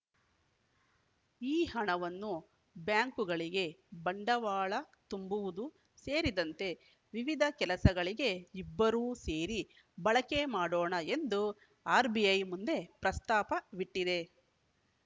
ಈ ಹಣವನ್ನು ಬ್ಯಾಂಕುಗಳಿಗೆ ಬಂಡವಾಳ ತುಂಬುವುದು ಸೇರಿದಂತೆ ವಿವಿಧ ಕೆಲಸಗಳಿಗೆ ಇಬ್ಬರೂ ಸೇರಿ ಬಳಕೆ ಮಾಡೋಣ ಎಂದು ಆರ್‌ಬಿಐ ಮುಂದೆ ಪ್ರಸ್ತಾಪವಿಟ್ಟಿದೆ